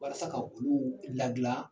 Walasa ka olu lagilan